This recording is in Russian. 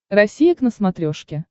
россия к на смотрешке